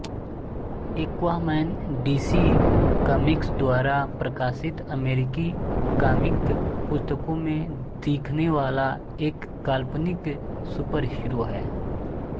Aquaman DC comics द्वारा प्रकाशित अमेरिकी कॉमिक पुस्तकों में दिखने वाला एक काल्पनिक सुपरहीरो है